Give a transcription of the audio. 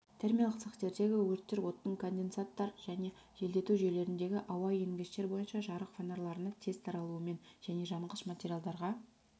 термиялық цехтердегі өрттер оттың конденсаттар және желдету жүйелеріндегі ауа енгіштер бойынша жарық фонарларына тез таралуымен және жанғыш материалдарға